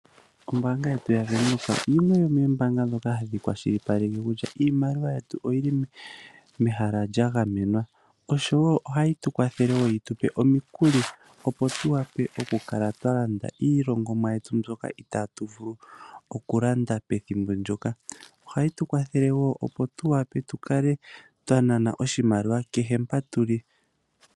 OBank yetu yaVenduka yimwe yomo ombanga ndjoka hayi kwashilipaleke kutya iimaliwa yetu oyili mehala lya gamenwa. Oshowo ohayi tu kwathele omikuli opo tu vule oku kala twa landa iilongomwa yetu mbyoka itatu vulu oku landa pethimbo ndyoka. Ohayi tu wathele wo opo tu kalae twa nana oshimaliwa shaampo tuli.